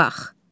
Dayanma.